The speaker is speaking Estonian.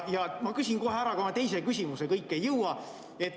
Ma küsin kohe ära ka oma teise küsimuse, kõike ei jõua.